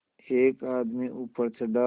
एक आदमी ऊपर चढ़ा